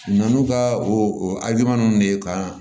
N'u ka o ninnu de ye kan